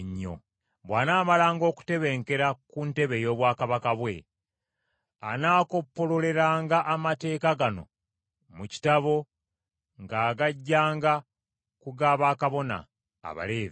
Bw’anaamalanga okutebenkera ku ntebe ey’obwakabaka bwe, anaakoppololeranga amateeka gano mu kitabo ng’agaggyanga ku ga bakabona, Abaleevi.